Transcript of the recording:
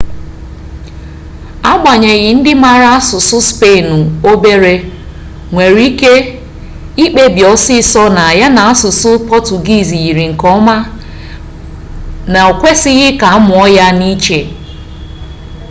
agbanyeghi ndị mara asụsụ spenụ obere nwere ike ikpebi ọsịịsọ na ya na asụsụ pọtugiizi yrir nke ọma na o kwesịghị ka a mụọ ya n'iche